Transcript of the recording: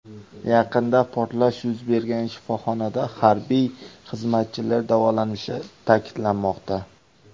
Yaqinida portlash yuz bergan shifoxonada harbiy xizmatchilar davolanishi ta’kidlanmoqda.